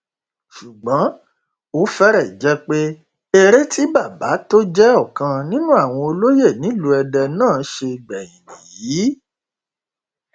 ṣùgbọn ó fẹrẹ jẹ pé èrè tí bàbá tó jẹ ọkan nínú àwọn olóye nílùú èdè náà ṣe gbẹyìn nìyí